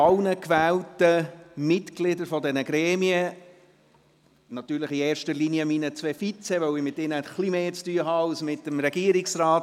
Ich gratuliere allen gewählten Mitgliedern der entsprechenden Gremien, natürlich in erster Linie meinen zwei Vizepräsidenten, da ich etwas mehr mit ihnen zu tun haben werde als mit dem Regierungsrat.